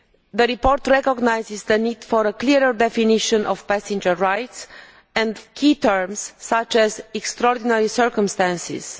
The report recognises the need for a clearer definition of passenger rights and of key terms such as extraordinary circumstances'.